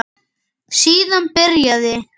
Síðan byrjaði